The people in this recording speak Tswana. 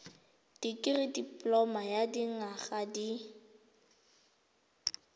dikirii dipoloma ya dinyaga di